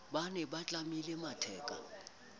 ba ne ba tlamile matheka